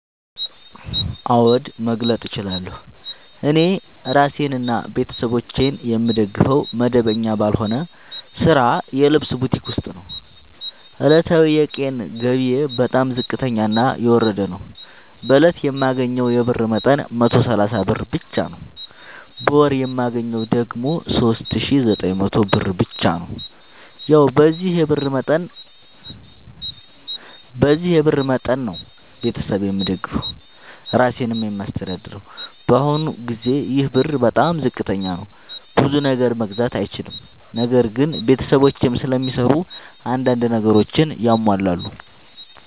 አዎድ መግለጥ እችላለሁ። እኔ እራሴንና ቤተሠቦቼን የምደግፈዉ መደበኛ ባልሆነ ስራ የልብስ ቡቲክ ዉስጥ ነዉ። ዕለታዊ የቀን ገቢየ በጣም ዝቅተኛና የወረደ ነዉ። በእለት የማገኘዉ የብር መጠን 130 ብር ብቻ ነዉ። በወር የማገኘዉ ደግሞ 3900 ብር ብቻ ነዉ። ያዉ በዚህ የብር መጠን መጠን ነዉ። ቤተሠብ የምደግፈዉ እራሴንም የማስተዳድረዉ በአሁኑ ጊዜ ይሄ ብር በጣም ዝቅተኛ ነዉ። ብዙ ነገር መግዛት አይችልም። ነገር ግን ቤተሰቦቼም ስለሚሰሩ አንዳንድ ነገሮችን ያሟላሉ።